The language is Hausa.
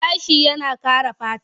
Gashi yana kare fata.